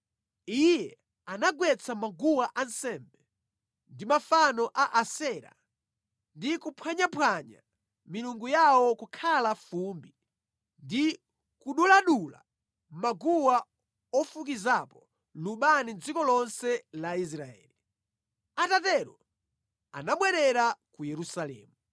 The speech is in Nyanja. iye anagwetsa maguwa ansembe ndi mafano a Asera ndi kuphwanyaphwanya milungu yawo kukhala fumbi ndi kuduladula maguwa ofukizapo lubani mʼdziko lonse la Israeli. Atatero, anabwerera ku Yerusalemu.